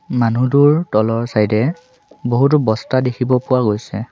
মানুহটোৰ তলৰ চাইড এ বহুতো বস্তা দেখিব পোৱা গৈছে।